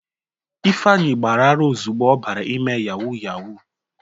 Ifeanyi gbara ara ozugbo ọbara ime yawu yawu.